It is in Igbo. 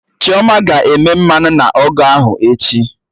Chioma ga-eme mmanụ na ọgụ ahụ echi